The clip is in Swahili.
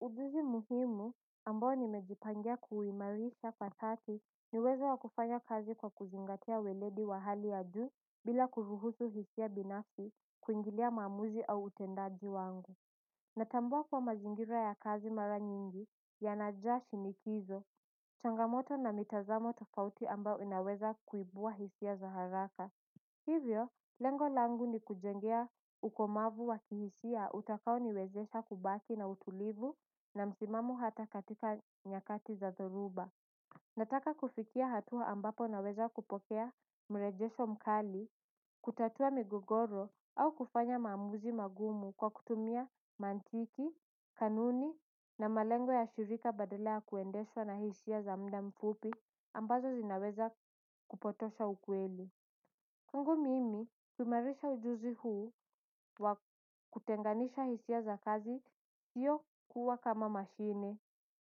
Ujuzi muhimu ambao nimejipangia kuuimarisha kwa dhati ni uwezo wa kufanya kazi kwa kuzingatia weledi wa hali ya juu bila kuruhusu hisia binafsi kuingilia maamuzi au utendaji wangu. Natambua kuwa mazingira ya kazi mara nyingi yanajaa shinikizo. Changamoto na mitazamo tofauti ambayo inaweza kuibua hisia za haraka. Hivyo, lengo langu ni kujengea ukomavu wakihisia utakao niwezesha kubaki na utulivu na msimamo hata katika nyakati za dhoruba. Nataka kufikia hatua ambapo naweza kupokea mrejesho mkali, kutatua migogoro au kufanya maamuzi magumu kwa kutumia mantiki, kanuni na malengo ya shirika badala ya kuendeshwa na hisia za muda mfupi ambazo zinaweza kupotosha ukweli kwangu mimi kuimarisha ujuzi huu wa kutenganisha hisia za kazi sio kuwa kama mashine.